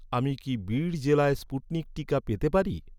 আমি কি বিড় জেলায় স্পুটনিক টিকা পেতে পারি?